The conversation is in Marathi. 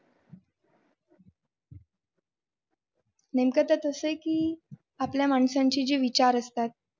नेमकं त्यात असं आहे की आपल्या माणसाचे जे विचार असतीत